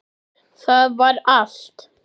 Það var allt.